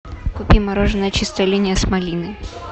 купи мороженое чистая линия с малиной